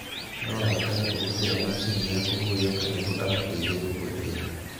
No abatare kũhũthĩra macini ya kũhũyũka nĩguo amũteithie kũhuhia.